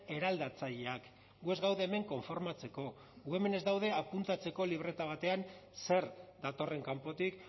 eraldatzaileak gu ez gaude hemen konformatzeko gu hemen ez gaude apuntatzeko libreta batean zer datorren kanpotik